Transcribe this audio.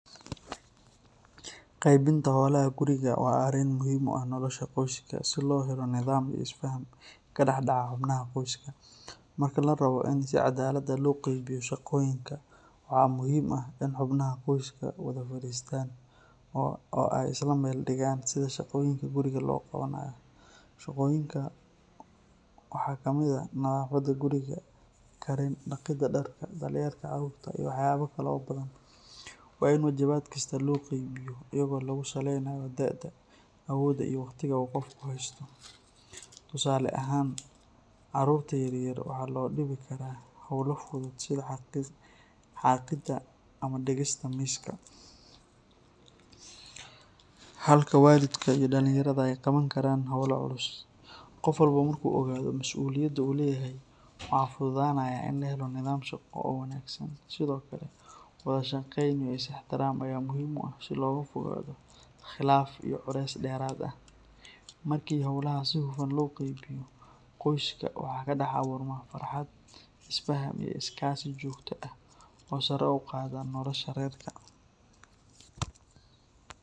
Qeybinta holaha guriga waa muhiim qoyska, marka larabo in la qeybiyo waxaa muhiim ah in lafadiisto oo si wanagsan loo qeybiyo, tusaale ahaan caruurta yaryar waxaa loo diibi karaa hola fudud sida xaqitanka iyo digida miiska, halka walidka aay qaban karaan holaha adag, marki holaha si hufan loo qeyniyo qoyska waxaay helaan farxad iyo is fahan oo sare uqaada nolosha reerka.